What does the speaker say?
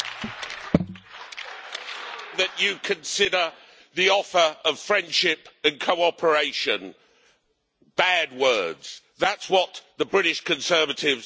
You consider the offer of friendship and cooperation bad words that's what the British Conservatives and the British people are offering.